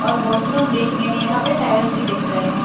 और वॉशरूम देखने में यहां पे टाइल्स भी दिख रहे हैं।